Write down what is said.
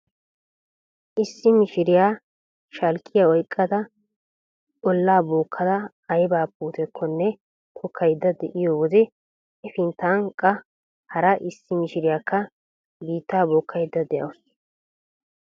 Issi mishiriya shalkkiya oyqqada ollaa bookkada ayba puutekkonne tokkaydda de'iyo wode hefinttan qa hara issi mishiriyakka biittaa bookkaydda de'awuus .